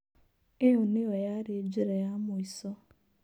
ĩo nĩyo yarĩ njĩra ya mũico.